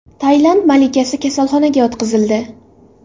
Tailand malikasi kasalxonaga yotqizildi.